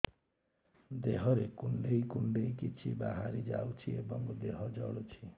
ଦେହରେ କୁଣ୍ଡେଇ କୁଣ୍ଡେଇ କିଛି ବାହାରି ଯାଉଛି ଏବଂ ଦେହ ଜଳୁଛି